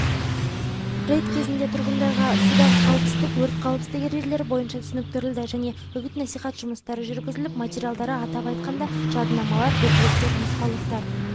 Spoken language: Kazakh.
рейд кезінде тұрғындарға судағы қауіпсіздікс өрт қауіпсіздік ережелері бойынша түсініктірілді және үгіт-насихат жұмыстары жүргізіліп материалдары атап айтқанда жадынамалар буклеттер нұсқаулықтар